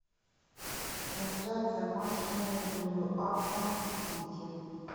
трансляция матча между ньюкаслом и сити